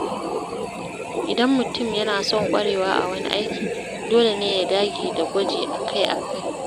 Idan mutum yana son ƙwarewa a wani aiki, dole ne ya dage da gwaji akai-akai.